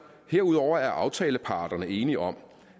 herudover er aftaleparterne enige om